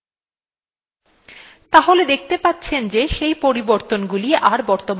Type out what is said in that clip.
তাহলে দেখবেন যে আমাদের পরিবর্তনগুলো are বর্তমান নেই তাহলে দেখতে পাচ্ছেন যে সেই পরিবর্তনগুলো are বর্তমান নেই